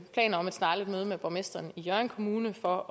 planer om et snarligt møde med borgmesteren i hjørring kommune for